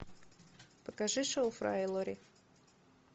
покажи шоу фрая и лори